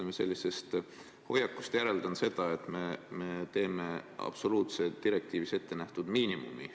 Ma teie hoiakust järeldan seda, et me võtame üle direktiivides ette nähtud miinimumi.